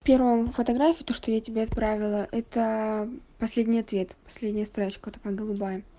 первому фотографию то что я тебе отправила это последний ответ последняя строчка такая голубая